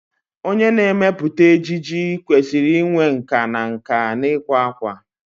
Onye na-emepụta ejiji kwesịrị inwe nkà na nkà n'ịkwa akwa.